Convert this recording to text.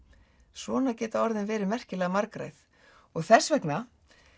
svona geta orðin verið merkilega margræð og þess vegna